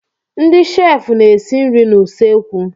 Ndị sheefụ na-esi nri n'usekwu.